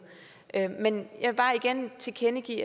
men jeg vil bare igen tilkendegive